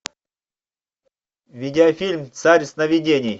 видеофильм царь сновидений